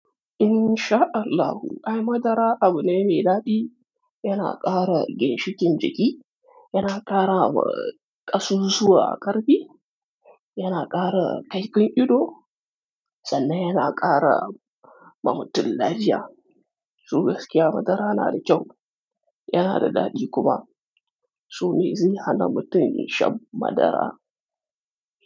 In sha Allahu, ayy madara abu ne mai daɗi, yana ƙara ginshikin jiki, yana ƙara wa ƙasusuwa ƙarfi, yana ƙara kaifin ido, sannan yana ƙara ma mutum lafiya. To gaskiya madara na da kyau, yana da daɗi kuma. To me zai hana mutum ya sha madara?